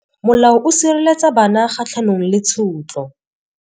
Molao o sireletsa bana kgatlhanong le tshotlo.